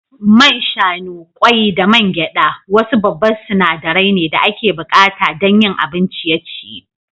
Man shanu, kwai da man gyada wasu babba sinadaran ne da ake bukata don yin abin ciye-ciye.